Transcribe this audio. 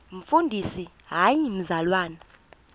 umfundisi hayi mzalwana